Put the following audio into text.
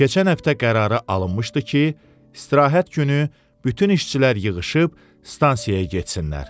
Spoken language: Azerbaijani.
Keçən həftə qərarı alınmışdı ki, istirahət günü bütün işçilər yığışıb stansiyaya getsinlər.